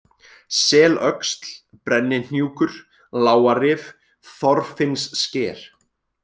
Selöxl, Brennihnjúkur, Lágarif, Þorfinnssker